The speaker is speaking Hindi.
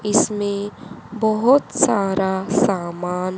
इसमें बहोत सारा सामान --